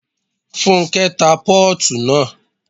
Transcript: Fúnkẹ́ ta pọ́ọ̀tù naa